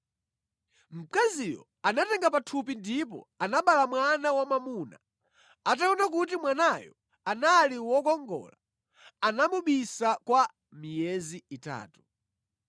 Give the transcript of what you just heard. Mkaziyo anatenga pathupi ndipo anabereka mwana wamwamuna. Ataona kuti mwanayo anali wokongola, anamubisa kwa miyezi itatu.